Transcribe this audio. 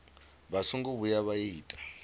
vha songo vhuya vha ita